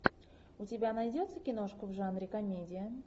у тебя найдется киношка в жанре комедия